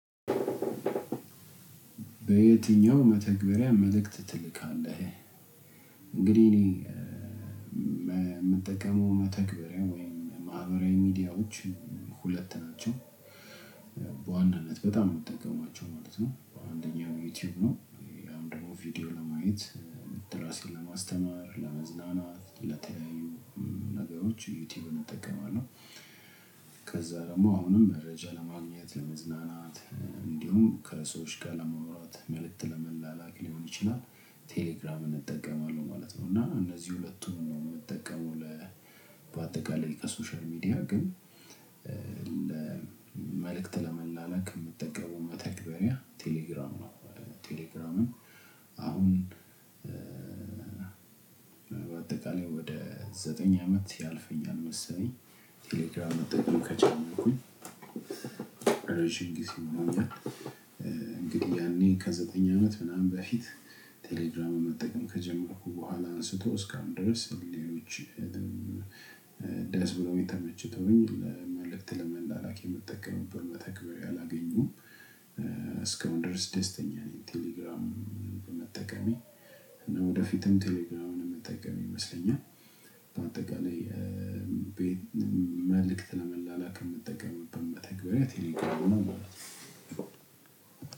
በየትኛው መተግበሪያ መልእክት ትልካለህ? እንግዲህ እኔ እኔ እምጠቀመው መተግበሪያ ወይም ማህበራዊ ሚዲያዎች ሁለት ናቸው በዋናነት በጣም እምጠቀማቸው ማለት ነው። አንደኛው ዩቲዩብ ነው። ያን ደግሞ ቪዲዮ በማየት ራሴን ለማስተማር ለመዝናናት ለተለያዩ ነገሮች ዩቲዩብን እጠቀማለሁ። ከዛ ደግሞ አሁንም መረጃ ለማግኘት ለመዝናናት እንዲሁም ከሰዎች ጋር ለመውራት መልእክት ለመላላክ ሊሆን ይችላል። ቴሌግራምን እንጠቀማለን ማለት ነው። እና እነዚህ ሁለቱን ነው እምጠቀመው ለ በአጠቃላይ ከሶሻል ሚዲያ ግን ለ መልእክት ለመላለክ እምጠቀመው መተግበሪያ ቴሌግራም ነው። ቴሌግራምን አሁን በአጠቃላይ ወደ ዘጠኝ አመት ያልፈኛል አልመሰለኝ ቴሌግራም መጠቀም ከጀመርኩኝ ረጅም ጊዜ ሆኖኛል። ያኔ ከዘጠኝ አመት ምናምን በፊት ቴሌግራም መጠቀም ከጀመርኩ በኋላ አንስቶ እስካሁን ድረስ ሌሎችንም ደስ ብሎኝ ተመችተውኝ። መልእክት ለመላላክ የምጠቀመበት መተግበሪያ አላገኘሁም እስከአሁን ድረስ ደስተኛ ነኝ። ቴሌግራም በመጠቀሜ እና ወደፊትም ቴሌግራምን እምጠቀም ይመስለኛል። በአጠቃላይ መልእክት ለመላላክ እምጠቀምበት መተግበሪያ ቴሌግራም ነው ማለት ነው።